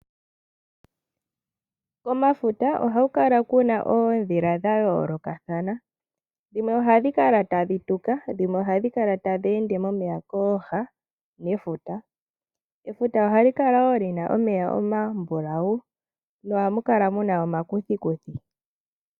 Komafuta ohaku kala ku na oondhila dha yoolokathana, dhimwe ohadhi kala tadhi tuka, dhimwe ohadhi kala tadhi ende momeya kooha nefuta. Efuta ohali kala wo li na omeya omambulawu nohamu kala mu na omakuthikuthi.